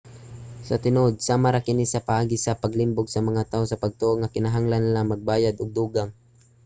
sa tinuod sama ra kini sa paagi sa paglimbong sa mga tawo sa pagtoo nga kinahanglan nila nga magbayad og dugang